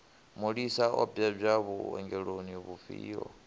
mulisa o bebwa vhuongeloni vhufhio